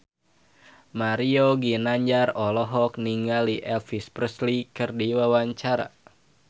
Mario Ginanjar olohok ningali Elvis Presley keur diwawancara